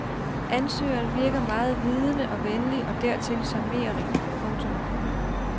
Ansøgeren virkede meget vidende og venlig og dertil charmerende. punktum